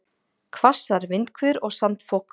Hvassar vindhviður og sandfok